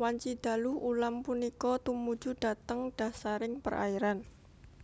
wanci dalu ulam punika tumuju dhateng dhasaring perairan